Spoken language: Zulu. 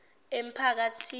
emphakathini